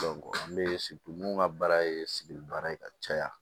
n bɛ mun ka baara ye sidibe baara ye ka caya